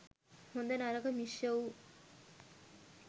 හොඳ නරක මිශ්‍ර වූ,